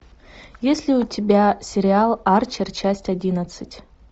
есть ли у тебя сериал арчер часть одиннадцать